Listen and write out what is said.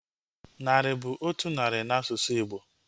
Narị bụ otu narị na asụsụ Igbo